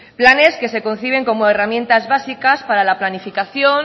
planes que se conciben como herramientas básicas para la planificación